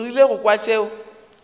o rile go kwa tšeo